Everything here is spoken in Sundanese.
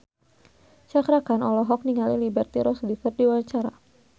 Cakra Khan olohok ningali Liberty Ross keur diwawancara